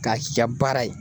K'a k'i ka baara ye